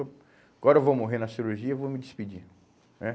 Agora eu vou morrer na cirurgia e vou me despedir né